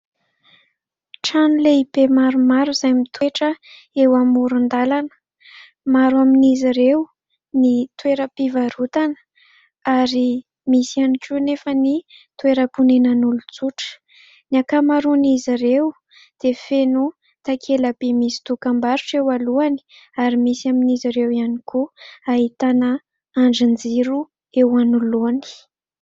Trano lehibe maromaro izay mitoetra eo amoron-dalana. Maro amin'izy ireo no toeram-pivarotana ary misy ihany koa anefa ny toeram-ponenan' olontsotra ny ankamaroan' izy ireo dia feno takela- by misy dokam- barotra eo alohany ary misy amin'izy ireo ihany koa ahitana andrin- jiro eo anoloany.